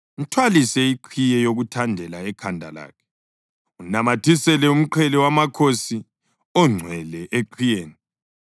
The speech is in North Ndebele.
Mthwalise iqhiye yokuthandela ekhanda lakhe, unamathisele umqhele wamakhosi ongcwele eqhiyeni.